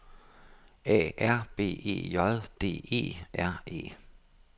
A R B E J D E R E